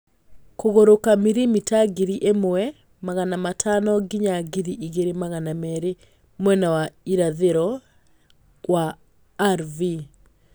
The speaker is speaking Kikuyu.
Kũgũrũka mirimita ngiri ĩmwe magana matano nginya ngiri igĩrĩ magana merĩ mwena wa irathĩro wa R.V.